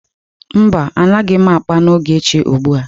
Mba, anaghị m akpa na Ogechi ugbu a.